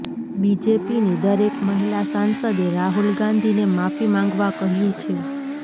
બીજેપીની દરેક મહિલા સાંસદે રાહુલ ગાંધીને માફી માંગવા કહ્યું છે